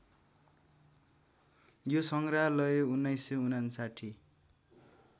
यो सङ्ग्रहालय १९५९